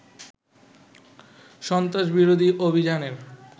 সন্ত্রাস বিরোধী অভিযানের